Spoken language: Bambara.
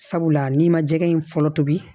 Sabula n'i ma jɛgɛ in fɔlɔ tobi